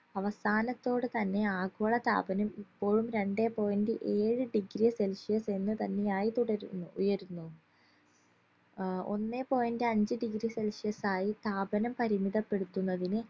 അവസാനത്തോടെ തന്നെ ആഗോളതാപനം ഇപ്പോഴും രണ്ടേ point ഏഴ് degree celsius എന്ന് തന്നെയായി തുടരുന്നു ഉയരുന്നു അഹ് ഒന്നേ point അഞ്ച്‌ degree celsius ആയി താപനം പരിമിതപ്പെടുത്തുന്നതിന്